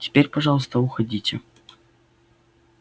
теперь пожалуйста уходите